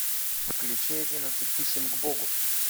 включи одиннадцать писем к богу